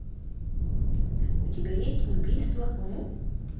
у тебя есть убийство в